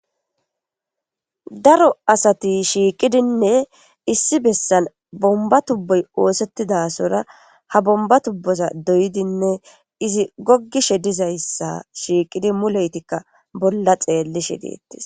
Daro asati shiiqidinne issi bessan bombba tubboy oosettidasora ha bombba tubboza doyidinne izi goggishe dizayssa shiiqidi muleyetikka bolla xeellishe deettes.